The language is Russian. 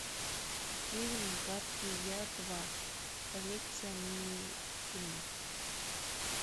фильм гадкий я два коллекция минифильмов